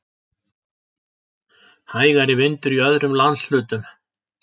Hægari vindur í öðrum landshlutum